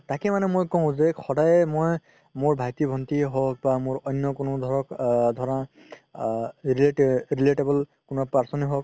তাকেই মানে মই কও যে সদায় মই মোৰ ভাইটি ভন্তি হওক বা মোৰ অন্য এ কোনো ধৰা আ ৰেলতে~ relatable কোনোবা person য়ে হওক